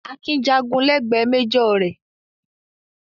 Akin jàgun lẹ́gbẹ̀ẹ́ méjọ̀ rẹ̀.